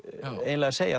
eiginlega segja